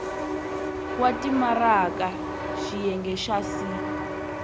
wa timaraka xiyenge xa c